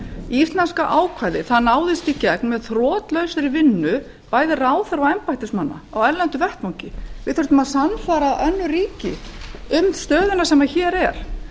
íslenska ákvæðið náðist í gegn með þrotlausri vinnu bæði ráðherra og embættismanna á erlendum vettvangi við þurftum að samsvara önnur ríki um stöðuna sem hér er